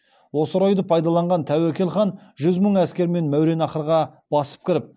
осы орайды пайдаланған тәуекел хан жүз мың әскермен мәуераннахрға басып кіріп